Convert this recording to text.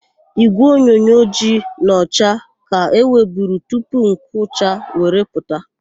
Ígwèonyonyo ojii na ọcha ka e nweburu tupu nke ụcha were pụta.